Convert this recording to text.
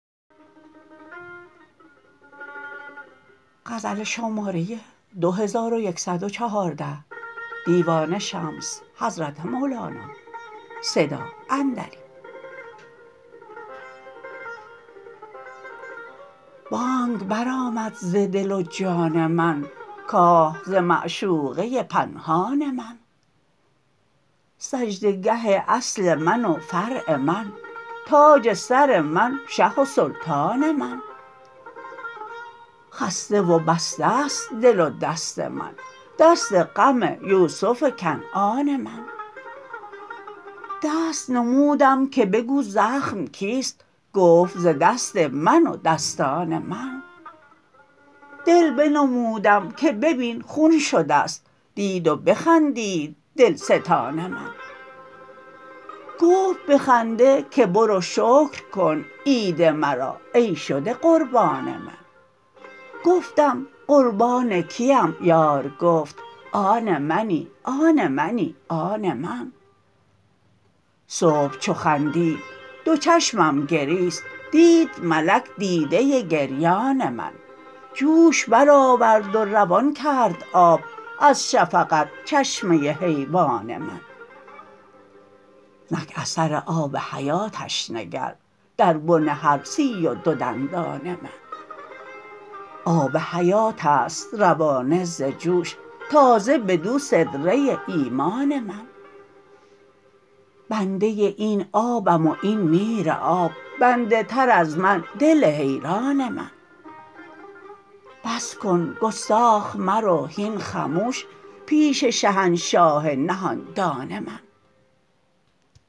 بانگ برآمد ز دل و جان من که ز معشوقه پنهان من سجده گه اصل من و فرع من تاج سر من شه و سلطان من خسته و بسته ست دل و دست من دست غم یوسف کنعان من دست نمودم که بگو زخم کیست گفت ز دست من و دستان من دل بنمودم که ببین خون شده ست دید و بخندید دلستان من گفت به خنده که برو شکر کن عید مرا ای شده قربان من گفتم قربان کیم یار گفت آن منی آن منی آن من صبح چو خندید دو چشمم گریست دید ملک دیده گریان من جوش برآورد و روان کرد آب از شفقت چشمه حیوان من نک اثر آب حیاتش نگر در بن هر سی و دو دندان من آب حیات است روانه ز جوش تازه بدو سدره ایمان من بنده این آبم و این میراب بنده تر از من دل حیران من بس کن گستاخ مرو هین خموش پیش شهنشاه نهان دان من